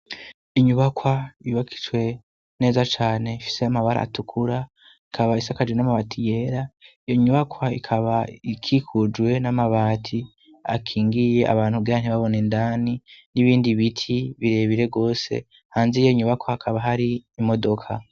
Inyubakwa yubakitswe neza cane ifise amabara atukura, ikaba isakajwe n'amabati yera, iyo nyubakwa ikaba ikikujwe n'amabati akingiye abantu kugira ntibabone indani, n'ibindi biti birebire rwose, hanze y'iyo nyubakwa hakaba hari imodoka.